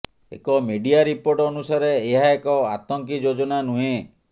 ଏକ media report ଅନୁସାରେ ଏହା ଏକ ଆତଙ୍କି ଯୋଜନା ନୁହେଁ